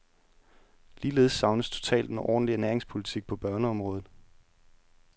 Ligeledes savnes totalt en ordentlig ernæringspolitik på børneområdet.